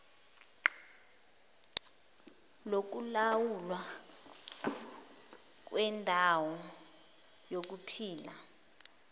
lokulawulwa kwendawo yokuphila